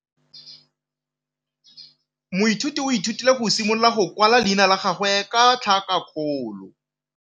Moithuti o ithutile go simolola go kwala leina la gagwe ka tlhakakgolo.